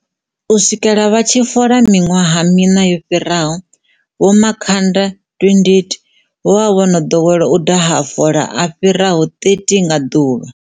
U swikela vha tshi litsha fola miṅwaha miṋa yo fhiraho, Vho Makhanda 28 vho vha vho no ḓowela u daha mafola a fhiraho 30 nga ḓuvha.